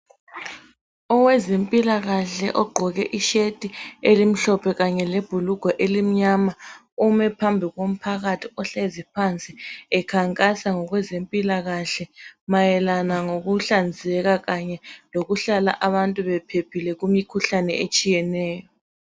Owezempilakahle ogqoke i shirt elimhlophe kanye lebhulugwe elimnyama ume phambi komphakathi ohlezi phansi ekhankasa ngokwe zempilakahle mayelana ngokuhlanzeka kanye lokuhlala abantu bephephile kumikhuhlane etshiyeneyo.